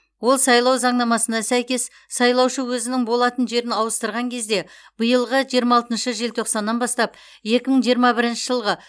ол сайлау заңнамасына сәйкес сайлаушы өзінің болатын жерін ауыстырған кезде биылғы жиырма алтыншы желтоқсаннан бастап екі мың жиырма бірінші жылғы